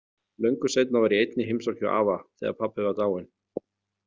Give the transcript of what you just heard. Löngu seinna var ég einn í heimsókn hjá afa, þegar pabbi var dáinn.